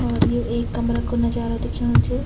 और ये एक कमरा कु नजारा दिखेणु च।